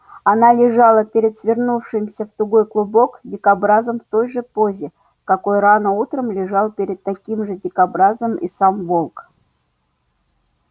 она лежала перед свернувшимся в тугой клубок дикобразом в той же позе в какой рано утром лежал перед таким же дикобразом и сам волк